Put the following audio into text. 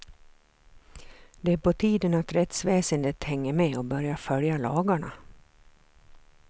Det är på tiden att rättsväsendet hänger med och börjar följa lagarna.